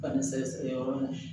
Ka nin sɛgɛsɛgɛ yɔrɔ min na